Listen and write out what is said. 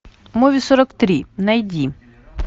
муви сорок три найди